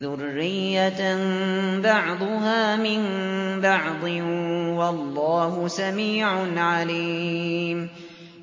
ذُرِّيَّةً بَعْضُهَا مِن بَعْضٍ ۗ وَاللَّهُ سَمِيعٌ عَلِيمٌ